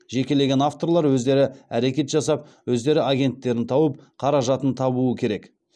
жекелеген авторлар өздері әрекет жасап өздері агенттерін тауып қаражатын табуы керек